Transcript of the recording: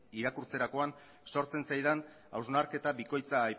irakurtzerakoan sortzen zaidan hausnarketa bikoitza